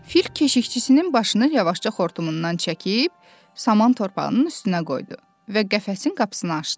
Fil keşikçisinin başını yavaşca xortumundan çəkib saman torpağının üstünə qoydu və qəfəsin qapısını açdı.